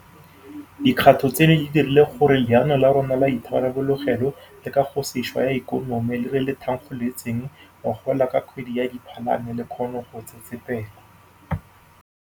Dikgato tseno di dirile gore Leano la rona la Itharabologelo le Kagosešwa ya Ikonomi le re le thankgolotseng ngogola ka kgwedi ya Diphalane le kgone go tsetsepela.